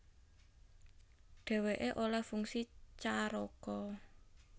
Dhèwèké olèh fungsi caraka